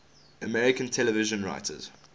american television writers